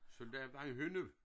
Så lavede han hønnu